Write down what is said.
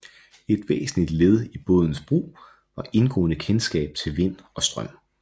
Et væsentligt led i bådens brug var indgående kenskab til vind og strøm